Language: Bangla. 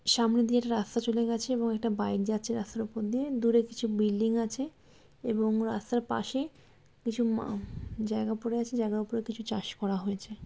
সামনে দিয়ে রাস্তা চলে গেছে এবং এটা বাইক যাচ্ছে রাস্তার উপর দিয়ে দূরে কিছু বিল্ডিং আছে এবং রাস্তার পাশে কিছু আ-জায়গা পড়ে আছে জায়গার উপর চাষ করা হয়েছে।